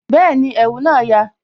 Bẹẹni, ẹ̀wù na ya